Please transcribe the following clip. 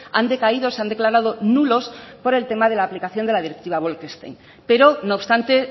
han decaído o se han declarado nulos por el tema de la aplicación de la directiva bolkestein pero no obstante